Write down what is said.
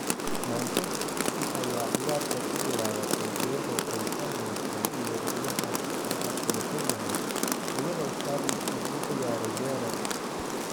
Manchester City ayaa ciyaarta ku bilaabatay iyadoo aysan heysan weeraryahan la aqoonsan yahay iyadoo Sterling uu u ciyaarayay weerar.